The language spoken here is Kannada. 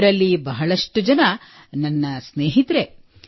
ಇವರಲ್ಲಿ ಬಹಳಷ್ಟು ಜನ ನನ್ನ ಸ್ನೇಹಿತರು